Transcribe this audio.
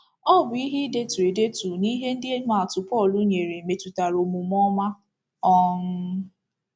Ọ bụ ihe idetu edetu na ihe ndị imaatụ Pọl nyere metụtara omume ọma. um